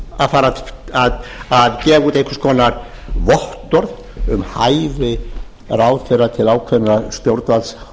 að fara að gefa út einhvers konar vottorð um hæfi ráðherra til ákveðinna